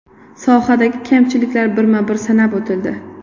Sohadagi kamchiliklar birma-bir sanab o‘tildi.